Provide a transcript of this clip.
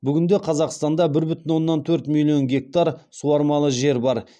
бүгінде қазақстанда бір бүтін оннан төрт миллион гектар суармалы жер бар